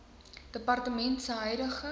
departement se huidige